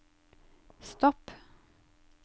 stopp